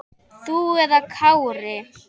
Þú eða Kári?